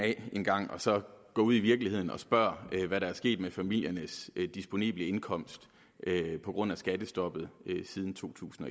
af en gang og så gå ud i virkeligheden og spørge hvad der er sket med familiernes disponible indkomst på grund af skattestoppet siden to tusind